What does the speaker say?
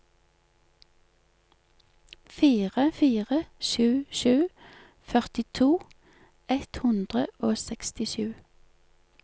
fire fire sju sju førtito ett hundre og sekstisju